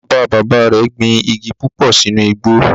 Bàbá bàbá rẹ̀ gbin igi púpò sínú igbó